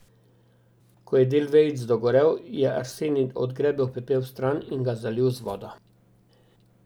Ko je del vejic dogorel, je Arsenij odgrebel pepel vstran in ga zalil z vodo.